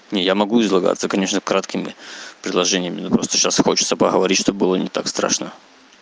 не я могу излагаться конечно краткими предложениями ну просто сейчас хочется поговорить что бы было не так страшно